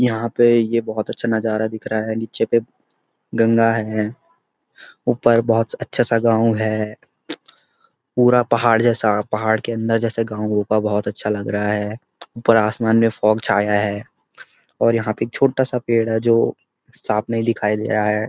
यहाँ पे ये बहुत अच्‍छा नजारा दिख रहा है नीचे पे गंगा है ऊपर बहुत अच्‍छा-सा गाँव है पूरा पहाड़ जैसा पहाड़ के अंदर जैसा गाँव होगा बहुत अच्‍छा लग रहा है ऊपर आसमान में फॉग छाया है और यहाँ पे छोटा-सा पेड़ है जाे साफ नहीं दिखााई दे रहा है।